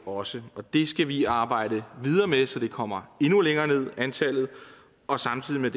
også det skal vi arbejde videre med så antallet kommer endnu længere ned og samtidig med